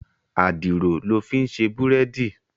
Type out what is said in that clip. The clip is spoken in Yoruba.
Àdìrò lò fin sé búrèdí